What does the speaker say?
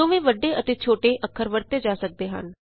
ਦੋਵੇਂ ਵੱਡੇ ਅਤੇ ਛੋਟੇ ਅੱਖਰ ਵਰਤੇ ਜਾ ਸਕਦੇ ਹਨ